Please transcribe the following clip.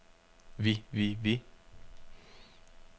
vi vi vi